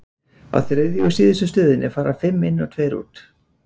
á þriðju og síðustu stöðinni fara fimm inn og tveir út